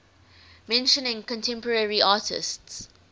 mentioning contemporary artists